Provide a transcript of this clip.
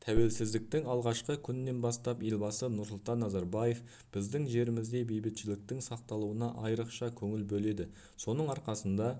тәуелсіздіктің алғашқы күнінен бастап елбасы нұрсұлтан назарбаев біздің жерімізде бейбітшіліктің сақталуына айрықша көңіл бөледі соның арқасында